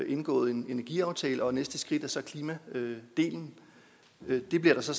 indgået en energiaftale og det næste skridt er så klimadelen det bliver der så